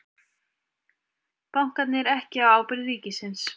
Bankarnir ekki á ábyrgð ríkisins